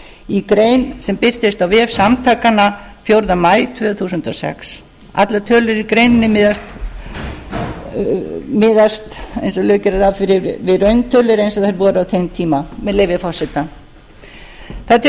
í grein sem birtist á vef samtakanna fjórða maí tvö þúsund og sex allar tölur í greininni miðast eins og lög gera ráð fyrir við rauntölur eins og þær voru á þeim tíma með leyfi forseta það